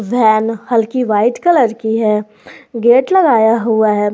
Van हल्की white colour की है गेट लगाया हुआ है।